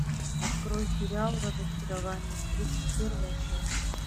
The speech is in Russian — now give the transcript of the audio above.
открой сериал разочарование тридцать первая часть